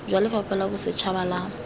jwa lefapha la bosetšhaba la